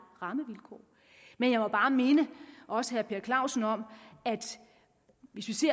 rammevilkår men jeg må bare minde også herre per clausen om